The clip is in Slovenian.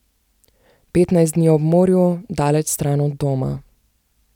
Petnajst dni ob morju, daleč stran od doma.